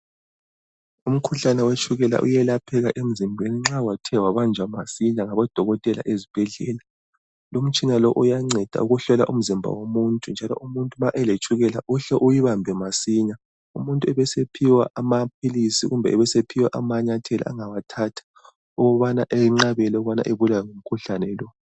Umkhuhlane wetshukela uyelapheka emzimbeni nxa wathi wabanjwa masinya ngabodokotela ezibhedlela. Lumtshina lo uyanceda ukuhlola umzimba womuntu. Njalo nxa umuntu eletshukela uhle uyibambe masinya. Umuntu ebesephiwa amaphilisi kumbe ebesephiwa amanyathela angawathatha ukubana enqabele ukubana ebulawe ngumkhuhlane lo.